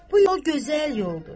Bu yol gözəl yoldur.